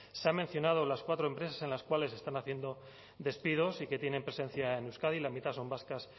se ha mencionado las cuatro empresas en las cuales se están haciendo despidos y que tienen presencia en euskadi la mitad son vascas